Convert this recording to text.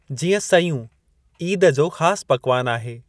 जीअं, सयूं ईद जो ख़ास पकवान आहे।